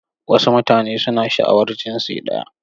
Wasu mutane suna sha'awar jinsi ɗaya.